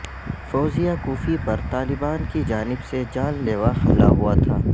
فوزیہ کوفی پر طالبان کی جانب سے جان لیوا حملہ ہوا تھا